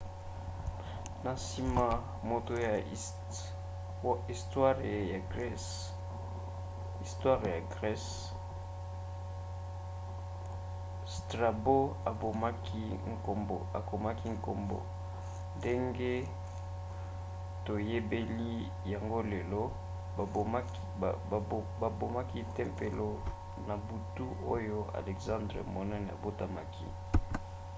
na nsima moto ya istware ya grese strabo akomaki nkombo ndenge toyebeli yango lelo. babomaki tempelo na butu oyo elexandre monene abotamaki